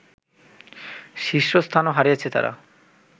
শীর্ষস্থানও হারিয়েছে তারা